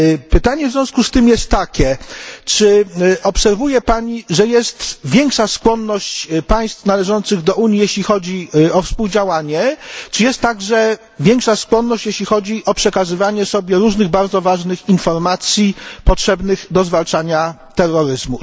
Pytanie w związku z tym jest takie czy obserwuje Pani, że jest większa skłonność państw należących do Unii, jeśli chodzi o współdziałanie, czy jest także większa skłonność, jeśli chodzi o przekazywanie sobie różnych bardzo ważnych informacji potrzebnych do zwalczania terroryzmu?